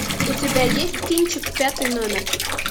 у тебя есть кинчик пятый номер